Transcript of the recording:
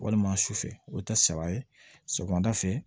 Walima sufɛ o bɛ ta saba ye sɔgɔmada fɛ